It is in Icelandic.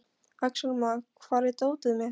Axelma, hvar er dótið mitt?